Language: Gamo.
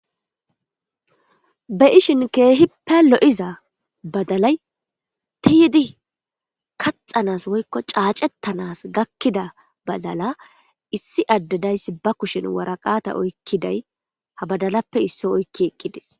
Be'iahin kehipe lo'iza badalay tiyidi kaxanaso woyko cacetaso gakida badala issi ade daysi ba kushen waraqata oykidays ha badalape isso oyki eqides